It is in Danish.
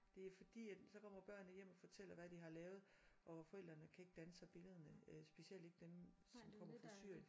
Det er fordi at så kommer børnene hjem og fortæller hvad de har lavet og forældrene kan ikke danne sig billederne øh specielt ikke dem som kommer fra Syrien